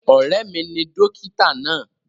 Ọ̀rẹ́ mi ni dókítà náà.